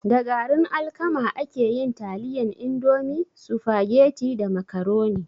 Da garin alkama ake yin taliyan indomie, sufageti da macaroni